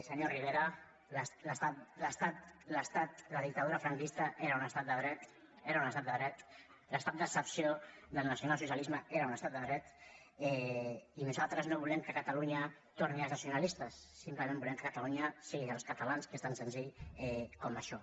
senyor rivera la dictadura franquista era un estat de dret era un estat de dret l’estat d’excepció del nacionalsocialisme era un estat de dret i nosaltres no volem que a catalunya tornin els nacionalistes simplement volem que catalunya sigui dels catalans que és tan senzill com això